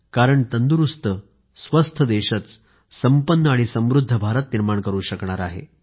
कारण तंदुरूस्त आरोग्य संपन्न देशच संपन्न आणि समृद्ध भारत निर्माण करू शकणार आहे